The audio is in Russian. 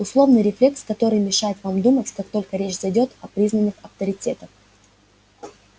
условный рефлекс который мешает вам думать как только речь зайдёт о признанных авторитетах